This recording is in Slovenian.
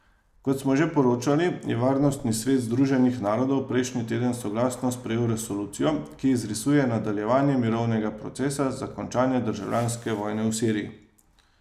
Kot smo že poročali, je Varnostni svet Združenih narodov prejšnji teden soglasno sprejel resolucijo, ki izrisuje nadaljevanje mirovnega procesa za končanje državljanske vojne v Siriji.